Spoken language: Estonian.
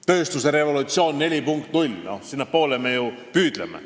Tööstusrevolutsioon 4.0 – sinnapoole me ju püüdleme.